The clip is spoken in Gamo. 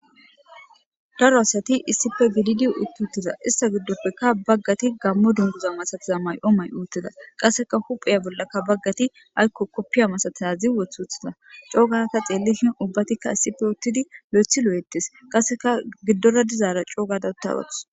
Daro asati issipe gididi utida ista gidopeka bagati gamo dunguza masatiza mayo may'i utida qaseka uphiya bolaka bagati ayko kopiye masatizaga c'o'u gada ta xelishe ubatika issipe utidi loytidi loyti betes qaseka izira dizara c'o'u gada utagadus.